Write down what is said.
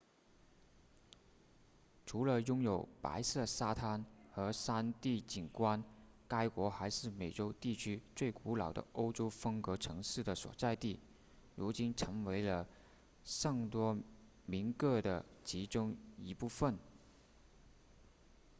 除了拥有白色沙滩和山地景观该国还是美洲地区最古老的欧洲风格城市的所在地如今成为了圣多明各的其中一部分